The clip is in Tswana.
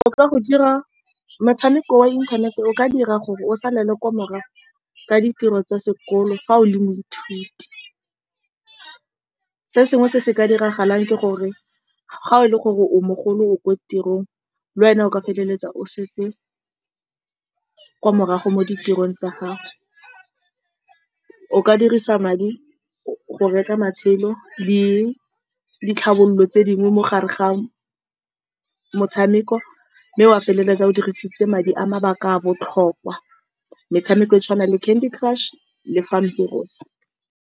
O ka go dira motshameko wa inthanete, o ka dira gore o salele ko morago ka ditiro tsa sekolo fa o le moithuti. Se sengwe se se ka diragalang ke gore, fa e le gore o mogolo o kwa tirong, le wena o ka feleletsa o setse kwa morago mo ditirong tsa gago. O ka dirisa madi go reka matshelo le ditlhabololo tse dingwe, mogare ga motshameko wa feleletsa o dirisitse madi a mabaka a a botlhokwa. Metshameko e tshwanang le Candy Crush le Fam .